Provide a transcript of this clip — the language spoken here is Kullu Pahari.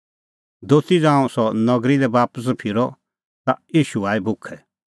दोती ज़ांऊं सह नगरी लै बापस फिरअ ता ईशू आई भुखै